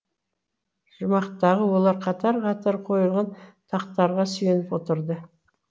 жұмақтағы олар қатар қатар қойылған тақтарға сүйеніп отырды